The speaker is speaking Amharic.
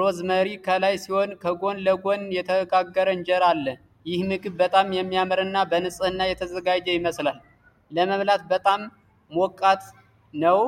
ሮዝመሪ ከላይ ሲሆን ከጎን ለጎን የተጋገረ እንጀራ አለ። ይህ ምግብ በጣም የሚያምርና በንፅህና የተዘጋጀ ይመስላል፤ ለመብላት በጣም ሞቃት ነው?